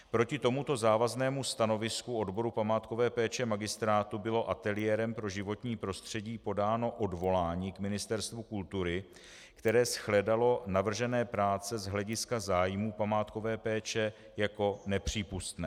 Proti tomuto závaznému stanovisku odboru památkové péče magistrátu bylo Ateliérem pro životní prostředí podáno odvolání k Ministerstvu kultury, které shledalo navržené práce z hlediska zájmů památkové péče jako nepřípustné.